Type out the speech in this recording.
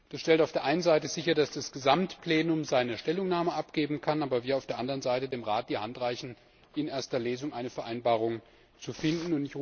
Das stellt auf der einen Seite sicher, dass das Gesamtplenum seine Stellungnahme abgeben kann, aber wir auf der anderen Seite dem Rat die Hand reichen, in erster Lesung eine Vereinbarung zu finden.